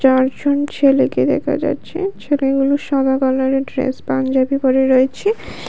চারজন ছেলেকে দেখা যাচ্ছে ছেলেগুলো সাদা কালারের ড্রেস পাঞ্জাবি পরে রয়েছে